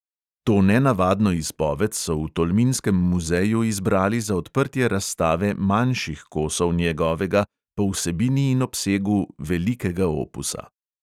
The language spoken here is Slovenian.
To nenavadno izpoved so v tolminskem muzeju izbrali za odprtje razstave "manjših" kosov njegovega po vsebini in obsegu velikega opusa.